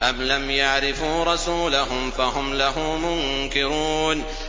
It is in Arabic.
أَمْ لَمْ يَعْرِفُوا رَسُولَهُمْ فَهُمْ لَهُ مُنكِرُونَ